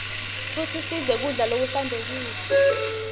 futsi sidle kudla lokuhlantekile